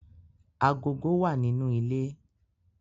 Agogo wa ninu ile